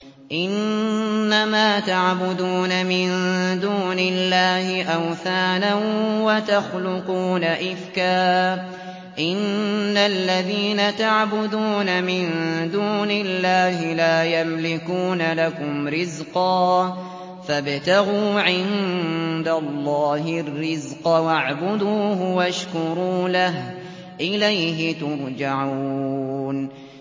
إِنَّمَا تَعْبُدُونَ مِن دُونِ اللَّهِ أَوْثَانًا وَتَخْلُقُونَ إِفْكًا ۚ إِنَّ الَّذِينَ تَعْبُدُونَ مِن دُونِ اللَّهِ لَا يَمْلِكُونَ لَكُمْ رِزْقًا فَابْتَغُوا عِندَ اللَّهِ الرِّزْقَ وَاعْبُدُوهُ وَاشْكُرُوا لَهُ ۖ إِلَيْهِ تُرْجَعُونَ